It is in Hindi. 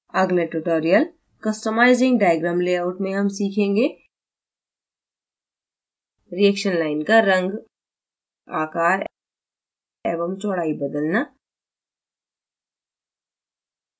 अगले tutorial customizing diagram layout में हम सीखेंगेreaction line का रंग आकार एवं चौड़ाई बदलना